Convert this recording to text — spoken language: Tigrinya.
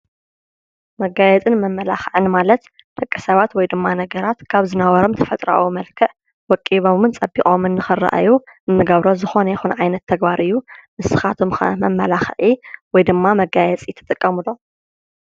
መጋየፅን መመላክዕን ማለት ደቂ ሰባት ወይ ድማ ነገራት ካብ ዝነበሮም ተፈጥራአዊ መልክዕ ወቂቦምን ፀቢቆምን ንክርአዩ እንገብሮ ዝኾነ ይኹን ዓይነት ተግባር እዩ። ንስኻትኩም ከ መመላክዒ ወይ ድማ መጋየፂ ትጥቀሙ ዶ?